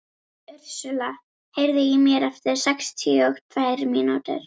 Ursula, heyrðu í mér eftir sextíu og tvær mínútur.